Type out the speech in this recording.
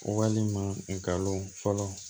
Walima galon fɔlɔ